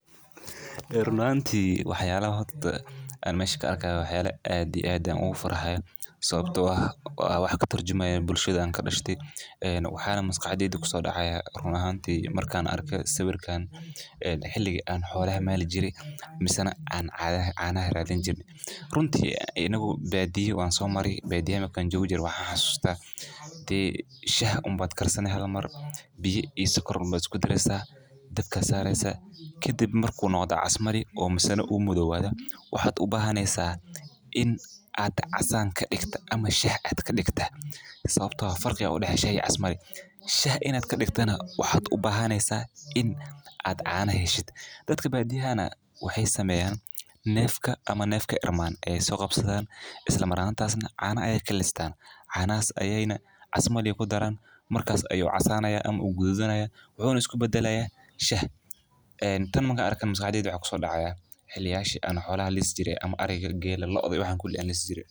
Run ahaantii Waxyaalaha aan meeshka arka ah waxyaalla aadi aadaan ugu faraxay sababtoo ah, oo ah wax ka tarjumaya bulshadaan ka dhashi. Ee waxaana masqaaxdaydu ku soo dhacaya run ahaantii markaan arkay sawirkan xiligii aan xola an maal jiray misano caan caanaha raadin jire ah. Runta inagu badiiyu waan soo maray. Badiyaa kan joojiir. Waxaan xusataa tii shah uun baad karsan haal mar biyo iyo soqor baan ku dareessa dabka sareysa. Kadib markuu noqoda casmali oo masana u muddo waada waxaad u baahanaysaa in aad casaan ka dhigta ama shax caad ka dhigtah sabtaha farqi ula heshay casmali. Shah inaad ka dhigtana waxaad u baahanaysaa in aad caana heshid. Dadka badiyaa wixii sameeyaan neefka ama neefka irman ayay soo qabsadaan isla maraanta aad caana ayay kallistaan. Canaas ayayna casmali ugu daran markaa ayuu casaanaya ama u guud ayeeya wuxuuna isku beddelaya shah. Ee tan markaan arkay masqaaxdaydu waxa ku soo dhacaya xilliyaan shil an xawla liisi jiray ama ariga geella looda waan kuli wanliisijiray .